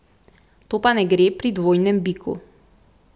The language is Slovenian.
To pa ne gre pri dvojnem biku.